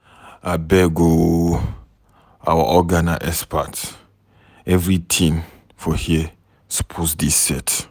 Abeg o, our oga na expert everytin for here suppose dey set.